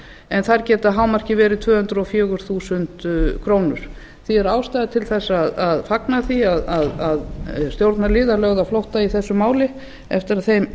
en þær geta að hámarki verið tvö hundruð og fjögur þúsund krónur því er ástæða til þess að fagna því að stjórnarliðar lögðu á flótta í þessu máli eftir að þeim